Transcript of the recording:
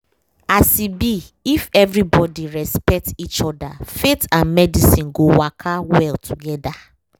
as e be if everybody respect each other faith and medicine go waka well together